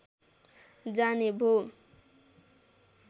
जाने भो